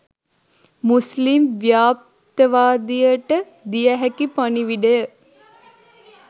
මුස්ලිම් ව්යාප්තවාදයට දිය හැකි පණිවිඩය